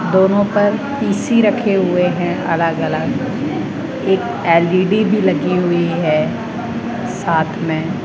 दोनों पर पी_सी रखे हुए हैं अलग-अलग एक एल_ई_डी भी लगी हुई है साथ में।